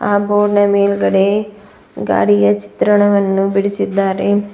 ಆ ಬೋರ್ಡ ನ ಮೇಲ್ಗಡೆ ಗಾಡಿಯ ಚಿತ್ರಣವನ್ನು ಬಿಡಿಸಿದ್ದಾರೆ.